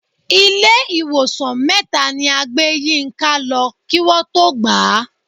Ilé ìwòsàn mẹ́ta ni a gbé Yínká lọ kí Wọ́n tó gbà á.